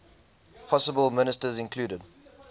possible ministers included